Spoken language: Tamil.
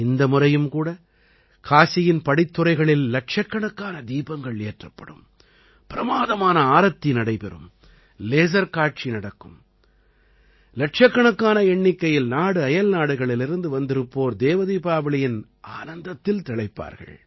இந்த முறையும் கூட காசியின் படித்துறைகளில் இலட்சக்கணக்கான தீபங்கள் ஏற்றப்படும் பிரமாதமான ஆரத்தி நடைபெறும் லேஸர் காட்சி நடக்கும் இலட்சக்கணக்கான எண்ணிக்கையில் நாடுஅயல்நாடுகளிலிருந்து வந்திருப்போர் தேவ தீபாவளியின் ஆனந்தத்தில் திளைப்பார்கள்